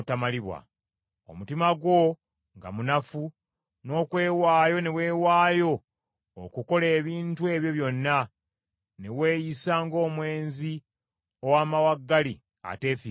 “ ‘Omutima gwo nga munafu, n’okwewaayo ne weewaayo okukola ebintu ebyo byonna, ne weeyisa ng’omwenzi ow’amawaggali ateefiirayo.